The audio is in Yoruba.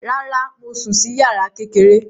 Rárá, mo sùn sí yàrá kékeré